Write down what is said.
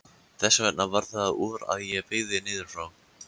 Þess vegna varð það úr að ég byggði niður frá.